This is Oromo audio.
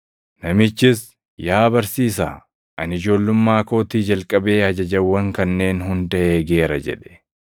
Namichis, “Yaa barsiisaa, ani ijoollummaa kootii jalqabee ajajawwan kanneen hunda eegeera” jedhe.